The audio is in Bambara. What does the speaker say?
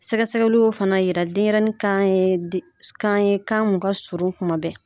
Sɛgɛsɛgɛliw fana yira denyɛrɛnin kan ye kan ye kan min ka surun kosɛbɛ